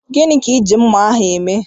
Gịnị ka iji mmá ahụ eme?